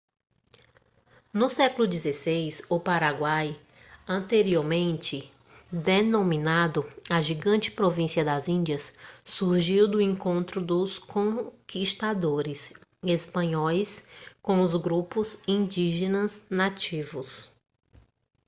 no século xvi o paraguai anteriormente denominado a gigante província das índias surgiu do encontro dos conquistadores espanhóis com os grupos indígenas nativos